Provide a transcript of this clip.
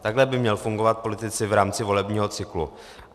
Takhle by měli fungovat politici v rámci volebního cyklu.